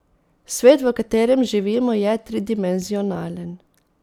Svet, v katerem živimo, je tridimenzionalen.